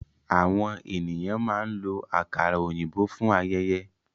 Àwọn ènìyàn máa ń lo àkàrà òyìnbó fún ayẹyẹ.